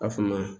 A fana